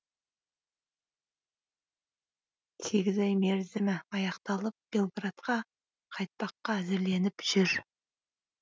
сегіз ай мерзімі аяқталып белградқа қайтпаққа әзірленіп жүр